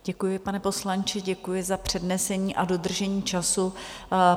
Děkuji, pane poslanče, děkuji za přednesení a dodržení času.